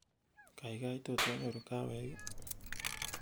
kaigai tot anyoru kahawek ii